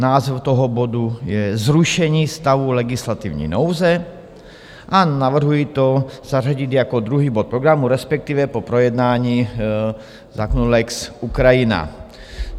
Název toho bodu je Zrušení stavu legislativní nouze a navrhuji to zařadit jako druhý bod programu, respektive po projednání zákona lex Ukrajina.